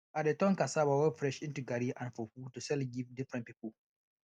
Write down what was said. i dey turn cassava wey fresh into garri and fufu to sell give different people